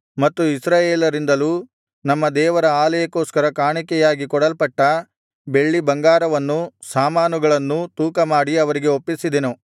ಇಸ್ರಾಯೇಲರಿಂದಲೂ ನಮ್ಮ ದೇವರ ಆಲಯಕ್ಕೋಸ್ಕರ ಕಾಣಿಕೆಯಾಗಿ ಕೊಡಲ್ಪಟ್ಟ ಬೆಳ್ಳಿ ಬಂಗಾರವನ್ನೂ ಸಾಮಾನುಗಳನ್ನೂ ತೂಕಮಾಡಿ ಅವರಿಗೆ ಒಪ್ಪಿಸಿದೆನು